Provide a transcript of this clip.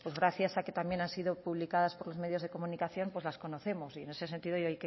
gracias a que también han sido publicadas por los medios de comunicación pues las conocemos y en ese sentido yo